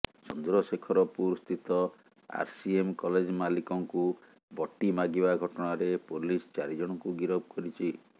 ଚନ୍ଦ୍ରଶେଖରପୁର ସ୍ଥିତ RCM college ମାଲିକଙ୍କୁ ବଟି ମାଗିବା ଘଟଣାରେ ପୋଲିସ ଚାରିଜଣଙ୍କୁ ଗିରଫ କରିଛି